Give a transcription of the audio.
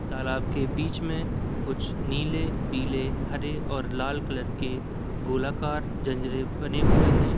तालाब के बीच मे कुछ नीले पीले हरे और लाल कलर के गोलाकार बने हुए हैं।